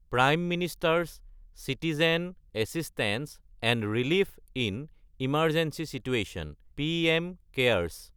prime minister's citizen assistance and relief in emergency situation (PM CARES)